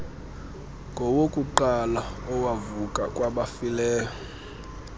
ngowokuqala owavuka kwabafileyo